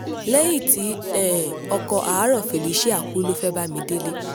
lẹ́yìn tí um ọkọ̀ àárọ̀ felicia kú ló fẹ́ bámidélé